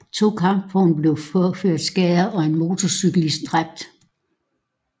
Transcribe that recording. To kampvogne blev påført skader og en motorcyklist dræbt